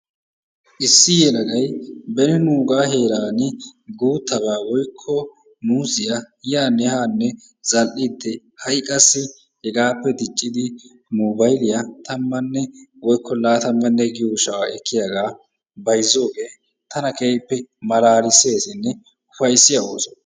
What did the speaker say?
Issi yelagay beni nugaa heeran boottabaa woykko muuzziyaa yaanne haanne zal"idi ha'i qassi hegaappe diiccidi nugaa giyaa tammanne woykko laatammanne giyoo sha'aa ekkiyaagaa bayzziyoogee tana keehippe malaliseesinne upayssiyaa ooso.